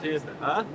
Xızı.